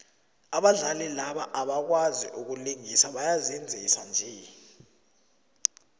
abadlali laba abakwazai ukulingisa bayazenzisa nje